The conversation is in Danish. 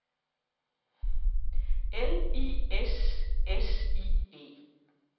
L I S S I E